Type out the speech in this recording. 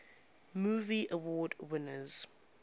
movie award winners